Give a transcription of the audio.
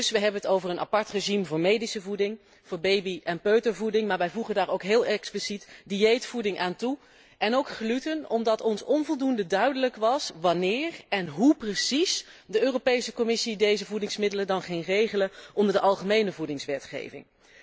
Dus we hebben het over een apart regime voor medische voeding, voor baby en peutervoeding, maar we voegen daar ook heel expliciet dieetvoeding aan toe en ook gluten, omdat het ons onvoldoende duidelijk is wanneer en hoe precies de Commissie deze voedingsmiddelen gaat regelen onder de algemene voedingswetgeving.